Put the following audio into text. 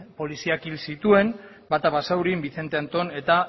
poliziak hil zituen bata basaurin vicente antón eta